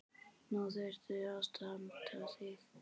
Nú þarftu að standa þig.